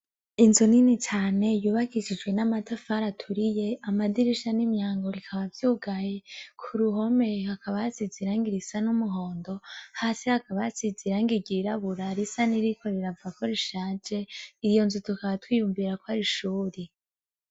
Inzu nini cane yubakishijwe n'amatafari aturiye amadirisha nimyango bikaba vyugaye kuruhome hakaba hasize irangi risa n'umuhondo hasi hakaba hasize irangi ryirabura risaniriko riravako rishaje iyo nzu tukaba twiyumvirako ari ishuri.